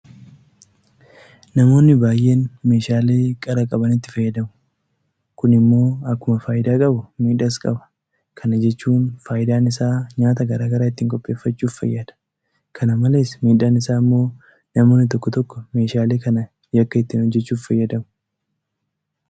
Namoonni baay'een meeshaalee qara qabanitti fayyadamu. Kun immoo akkuma faayidaa qabu miidhaas qaba. Kana jechuun faayidaan isaa nyaata garaa garaa ittiin qopheeffaachuudhaaf fayyada. Kana malees miidhaan isaa immoo namoonni tokko tokko meeshaalee kana yakka ittiin hojjechuudhaaf fayyadamu.